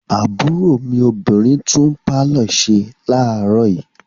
Àbúrò mi obìnrin tún pálọ̀ ṣe láàárọ̀ yìí.